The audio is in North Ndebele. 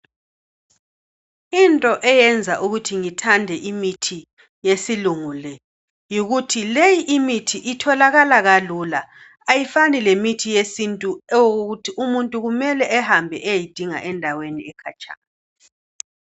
Into eyenza ukuthi ngithande imithi yesilungu le yikuthi leyi imithi itholakala kalula ayifani lemithi yesintu okokuthi umuntu kumele ehambe eyeyidinga endaweni ekhatshana.